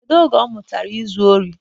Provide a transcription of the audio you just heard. Kedu oge ọ mụtara izu ori?